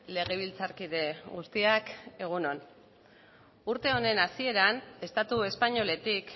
legebiltzarkide guztiak egun on urte honen hasieran estatu espainoletik